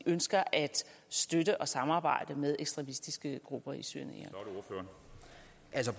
ønsker at støtte og samarbejde med ekstremistiske grupper i syrien